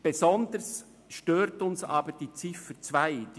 Besonders stört uns aber die Ziffer 2.